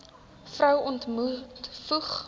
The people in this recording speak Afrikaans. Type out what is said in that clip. vrou ontmoet voeg